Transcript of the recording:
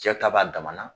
Cɛ ta b'a dama na